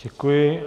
Děkuji.